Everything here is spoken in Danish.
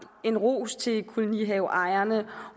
var ros til kolonihaveejerne